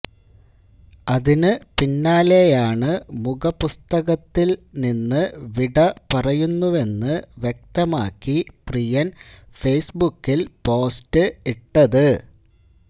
അതിന് പിന്നാലെയാണ് മുഖപുസ്തകത്തില് നിന്ന് വിട പറയുന്നുവെന്ന് വ്യക്തമാക്കി പ്രിയന് ഫെയസ്ബുക്കില് പോസ്റ്റ് ഇ്ട്ടത്